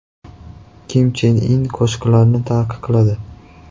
Kim Chen In qo‘shiqlarni taqiqladi.